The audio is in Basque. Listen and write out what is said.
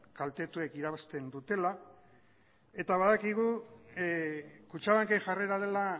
kaltetuek irabazten dutela eta badakigu kutxabanken jarrera dela